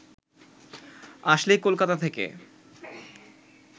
আসলে কলকাতা থেকে